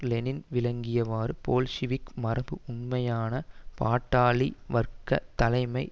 Lenin விளக்கியவாறு Bolshevik மரபு உண்மையான பாட்டாளி வர்க்க தலைமை